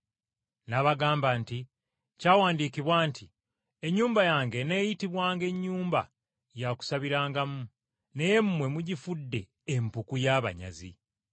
N’abagamba nti, “Kyawandiikibwa nti, ‘Ennyumba yange eneeyitibwanga nnyumba ya kusabirangamu,’ naye mmwe mugifudde ‘empuku y’abanyazi.’ ”